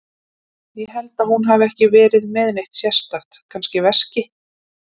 Ég held hún hafi ekki verið með neitt sérstakt, kannski veski.